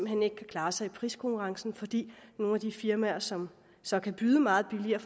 hen ikke kan klare sig i priskonkurrencen fordi nogle af de firmaer som så kan byde meget billigere